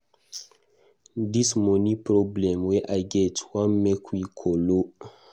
This money problem wey I get wan make we kolo.